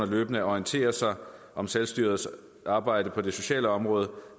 løbende at orientere sig om selvstyrets arbejde på det sociale område